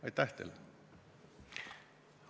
Aitäh teile!